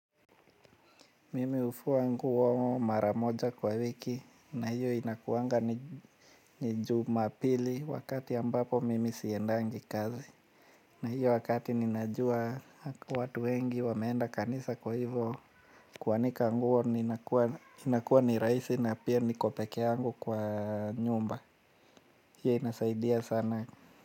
Mimi hufua nguo maramoja kwa wiki na hiyo inakuwanga ni jumapili wakati ambapo mimi siendangi kazi. Na hiyo wakati ninajua watu wengi wameenda kanisa kwa hivyo kuanika nguo inakuwa ni rahisi na pia niko pekee yangu kwa nyumba hiyo inasaidia sana.